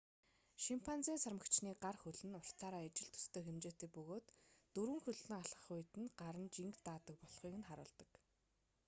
шимпанзе сармагчны гар хөл нь уртаараа ижил төстэй хэмжээтэй бөгөөд дөрвөн хөллөн алхах үед нь гар нь жинг даадаг болохыг харуулдаг